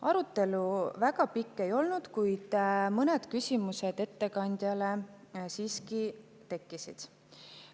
Arutelu väga pikk ei olnud, kuid mõned küsimused ettekandjale siiski tekkisid.